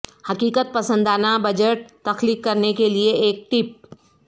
حقیقت پسندانہ بجٹ تخلیق کرنے کے لئے ایک ٹپ